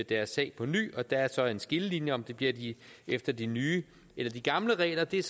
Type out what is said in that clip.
deres sag på ny og der er så en skillelinje om det bliver efter de nye eller de gamle regler det er